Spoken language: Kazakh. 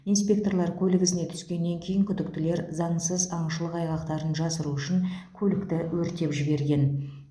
инспекторлар көлік ізіне түскеннен кейін күдіктілер заңсыз аңшылық айғақтарын жасыру үшін көлікті өртеп жіберген